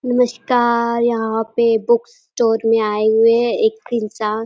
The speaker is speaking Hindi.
नमस्कार यहाँ पे बुक स्टोर में आये हुए है। एक --